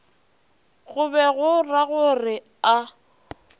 go be go ragore a